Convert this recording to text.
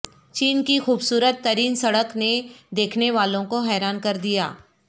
چین کی خوبصورت ترین سڑک نے دیکھنے والوں کو حیران کر دیا